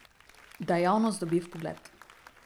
Da javnost dobi vpogled.